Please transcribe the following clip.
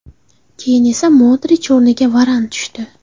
Keyin esa Modrich o‘rniga Varan tushdi.